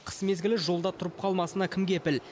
қыс мезгілі жолда тұрып қалмасына кім кепіл